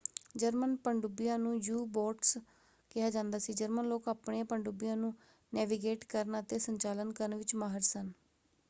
German ਪਣਡੁੱਬੀਆਂ ਨੂੰ U boats ਕਿਹਾ ਜਾਂਦਾ ਸੀ। ਜਰਮਨ ਲੋਕ ਆਪਣੀਆਂ ਪਣਡੁੱਬੀਆਂ ਨੂੰ ਨੈਵੀਗੇਟ ਕਰਨ ਅਤੇ ਸੰਚਾਲਨ ਕਰਨ ਵਿੱਚ ਮਾਹਰ ਸਨ।